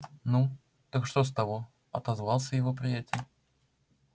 ну так что с того отозвался его приятель